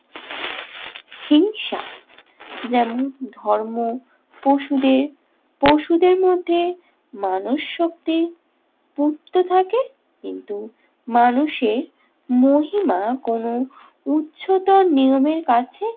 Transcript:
যেমন ধর্ম পশুদের। পশুদের মধ্যে মানসশক্তি থাকে কিন্তু মানুষে মহিমা কোনো উচ্চতা নিয়মের কাছে